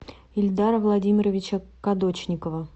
ильдара владимировича кадочникова